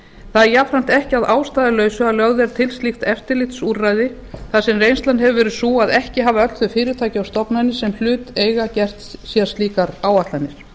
það er jafnframt ekki að ástæðulausu að lögð eru til slíkt eftirlitsúrræði þar sem reynslan hefur verið sú að ekki hafi öll þau fyrirtæki og stofnanir sem hlut eiga gert sér slíkar áætlanir